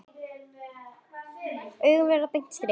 Augun verða beint strik.